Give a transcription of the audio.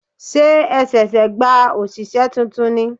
Ṣé ẹ ṣẹ̀ṣẹ̀ gba òṣìṣẹ́ tuntun ni?